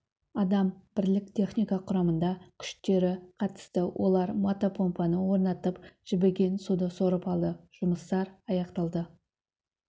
адам бірлік техника құрамында күштері қатысты олар мотопомпаны орнатып жібіген суды сорып алды жұмыстар аяқталды